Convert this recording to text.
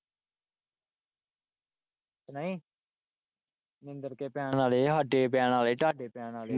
ਨਹੀਂ ਜਿੰਦਰ ਕੇ ਪੈਣ ਵਾਲੇ ਆ ਹਾਡੇ ਪੈਣ ਵਾਲੇ ਆ ਤਾਡੇ ਪੈਣ ਵਾਲੇ ਆ।